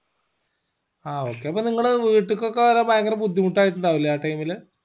ആ okay അപ്പൊ നിങ്ങടെ വീട്ടിക്ക് ഒക്കെ വരാൻ ഭയങ്കര ബുദ്ധിമുട്ടായിട്ടുണ്ടാവില്ലേ ആ time ല്